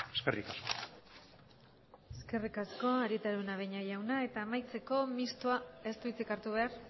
eskerrik asko eskerrik asko arieta araunabeña jauna eta amaitzeko mistoak ez du hitzik hartu behar